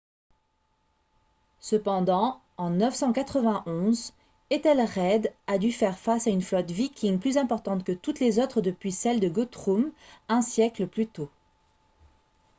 cependant en 991 ethelred a dû faire face à une flotte viking plus importante que toutes les autres depuis celle de guthrum un siècle plus tôt